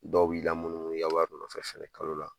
Dɔw b'i lamunumunu i ka wari nɔfɛ fana kalo la